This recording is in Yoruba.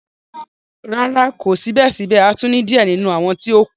Rara, ko sibẹsibẹ a tun ni diẹ ninu awọn ti o kù.